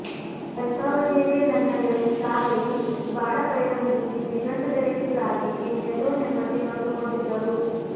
ಅಲ್ಪಾವದಿಯಲ್ಲೇ ನನ್ನ ಗೆಳತಿ ಸಾಗರಿ ಬಾಳ ಪಯಣ ಮುಗಿಸಿ ದಿಗಂತದೆಡೆಗೆ ಸಾಗಿ ಇನ್ನೆಲ್ಲೋ ನೆಮ್ಮದಿ ಕಂಡುಕೊಂಡಿದ್ದಳು